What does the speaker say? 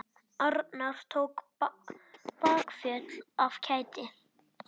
Arnar tók bakföll af kæti.